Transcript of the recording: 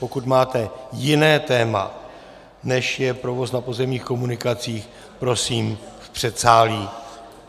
Pokud máte jiné téma, než je provoz na pozemních komunikacích, prosím v předsálí.